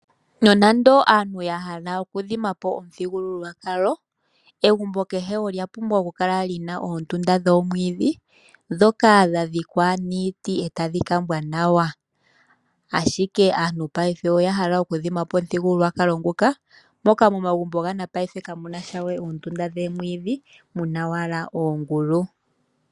Nonando aantu ya hala okudhimapo omuthigululwakalo, egumbo kehe olya pumbwa okukala li na oondunda dhoomwiidhi dhoka dha dhikwa niiti e tadhi kambwa nawa, ashike aantu paife oya hala okudhimapo omuthigululwakalo nguka moka momagumbo ga napaife kamunasha we oondunda dhoomwiidhi muna owala oongulu.